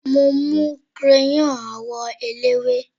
mo mu crayon àwọn ẹlẹwe